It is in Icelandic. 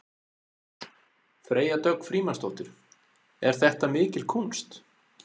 Freyja Dögg Frímannsdóttir: Er þetta mikil kúnst?